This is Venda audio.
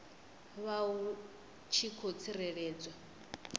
vha hu tshi khou tsireledzwa